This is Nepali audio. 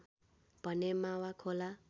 भने मावा खोला